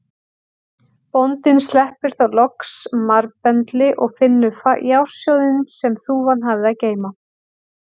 Bóndinn sleppir þá loks marbendli og finnur fjársjóðinn sem þúfan hafði að geyma.